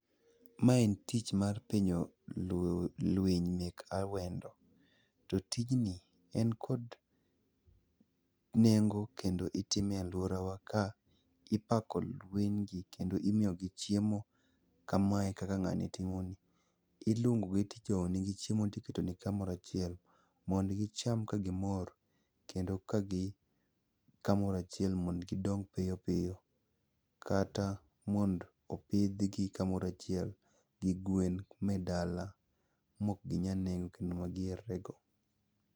Mae en tich mar pidho winy mek awendo. To tijni en kod nengo kendo itime e alworawa ka ipako winygi kendo imiyogi chiemo, kamae kaka ng'ani timoni. Ilwongogi tijowo nigi chiemo tiketo negi kamoro achiel mondo gicham kagimor kendo ka gin kamoro achiel mondo gidong piyo piyo, kata mondo opidhgi kamoro achiel gi gwen e dala mok ginyal nego kendo magi herrego.